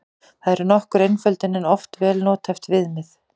Það er nokkur einföldun en oft vel nothæft viðmið.